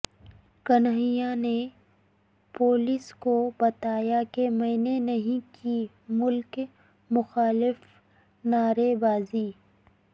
کنہیا نے پولیس کو بتایا کہ میں نے نہیں کی ملک مخالف نعرے بازی